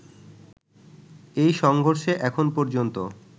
এই সংঘর্ষে এখন পর্যন্ত